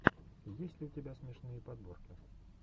есть ли у тебя смешные подборки